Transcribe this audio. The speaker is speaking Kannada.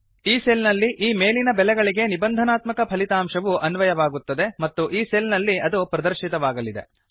ಈ ಸೆಲ್ ನಲ್ಲಿ ಈ ಮೇಲಿನ ಬೆಲೆಗಳಿಗೆ ನಿಬಂಧನಾತ್ಮಕ ಫಲಿತಾಂಶವು ಅನ್ವಯವಾಗುತ್ತದೆ ಮತ್ತು ಈ ಸೆಲ್ ನಲ್ಲಿ ಅದು ಪ್ರದರ್ಶಿತವಾಗಲಿದೆ